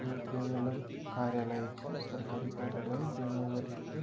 यु क्वे मलब कार्यालय च सरकरी कार्यालय जेमा वरिष्ठ ।